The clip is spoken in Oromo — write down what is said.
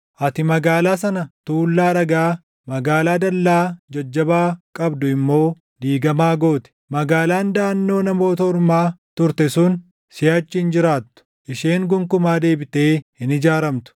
Ati magaalaa sana tuullaa dhagaa, magaalaa dallaa jajjabaa qabdu immoo diigamaa goote; magaalaan daʼannoo Namoota Ormaa turte sun // siʼachi hin jiraattu; isheen gonkumaa deebitee hin ijaaramtu.